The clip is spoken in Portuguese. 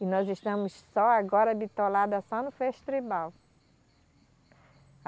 E nós estamos só agora bitolada só no Festribal.